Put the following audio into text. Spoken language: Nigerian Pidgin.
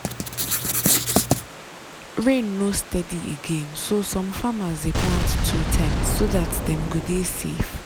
rain no steady again so some farmers dey plant two times so dat dem go dey safe.